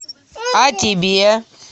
а тебе